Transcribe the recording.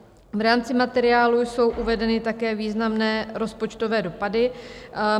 V rámci materiálu jsou uvedeny také významné rozpočtové dopady.